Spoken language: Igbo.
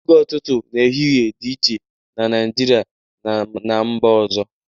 Oge ụtụtụ na ehihie dị iche na Naịjirịa na ná mba ọzọ